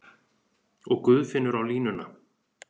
Og Guðfinnur á línuna!